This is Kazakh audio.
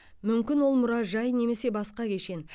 мүмкін ол мұражай немесе басқа кешен